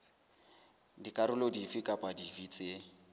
dikarolo dife kapa dife tse